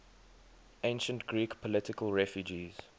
ancient greek political refugees